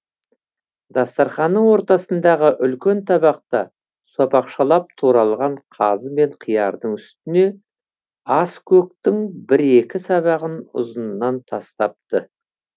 дастарханның ортасындағы үлкен табақта сопақшалап туралған қазы мен қиярдың үстіне аскөктің бір екі сабағын ұзынынан тастапты